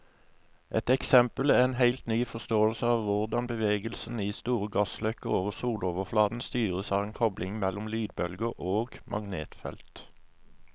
Et eksempel er en helt ny forståelse av hvordan bevegelsen i store gassløkker over soloverflaten styres av en kobling mellom lydbølger og magnetfeltet.